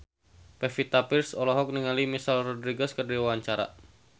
Pevita Pearce olohok ningali Michelle Rodriguez keur diwawancara